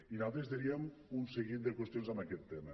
i nosaltres diríem un seguit de qüestions en aquest tema